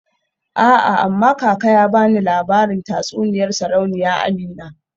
A'a amma kaka yana bani labarin tatsuniyar Sarauniya Amina.